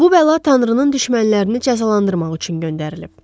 Bu bəla Tanrının düşmənlərini cəzalandırmaq üçün göndərilib.